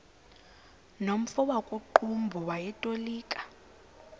nomfo wakuqumbu owayetolika